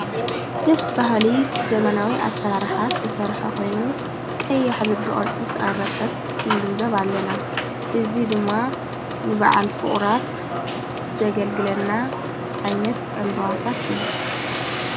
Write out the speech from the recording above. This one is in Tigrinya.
ደስ ባሃሊ ብዘመናዊ ኣሠላርሓ ተሠርሐ ኾይኑ ቀይሕ ልቢ ቅርፂ ዘተቐረጸት ንግንዘብ ኣለና እዙ ድማ ንብዓል ፍቑራት ዘገልግለና ዓይነት ዕምበዋታት እዩ።